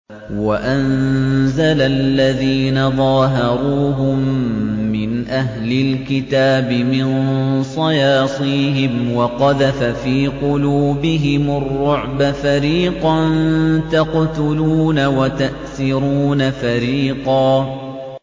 وَأَنزَلَ الَّذِينَ ظَاهَرُوهُم مِّنْ أَهْلِ الْكِتَابِ مِن صَيَاصِيهِمْ وَقَذَفَ فِي قُلُوبِهِمُ الرُّعْبَ فَرِيقًا تَقْتُلُونَ وَتَأْسِرُونَ فَرِيقًا